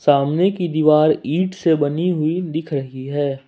सामने की दीवार ईट से बनी हुई दिख रही है।